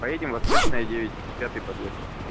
поедем восточная девять пятый подъезд